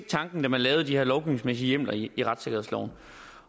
tanken da man lavede de her lovgivningsmæssige hjemler i retssikkerhedsloven